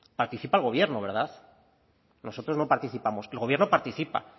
participa el gobierno verdad nosotros no participamos el gobierno participa